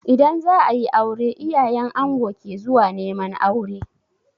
In za a yi aure, iyayen ango ke zuwa neman aure.